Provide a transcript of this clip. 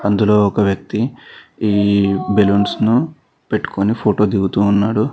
అందులో ఒక వ్యక్తి ఈ బెలూన్స్ను పెట్టుకొని ఫోటో దిగుతూ ఉన్నాడు.